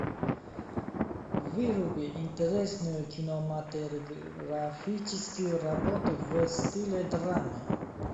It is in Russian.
выруби интересную кинематографическую работу в стиле драмы